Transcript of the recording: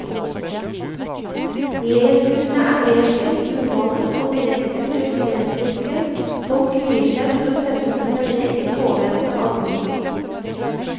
Leskurene er nedslitt, umalte og direkte uestetiske, folk kvier seg for å sette seg ned i påvente av bussen.